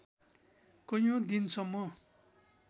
कैयौँ दिनसम्म